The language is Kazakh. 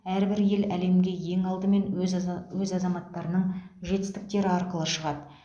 әрбір ел әлемге ең алдымен өз аза өз азаматтарының жетістіктері арқылы шығады